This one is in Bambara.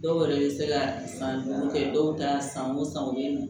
Dɔw yɛrɛ bɛ se ka san duuru kɛ dɔw ta san o san u bɛ na